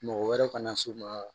Mɔgɔ wɛrɛ kana na s'u ma